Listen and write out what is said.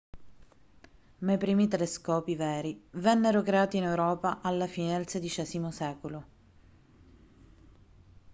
ma i primi telescopi veri vennero creati in europa alla fine del xvi secolo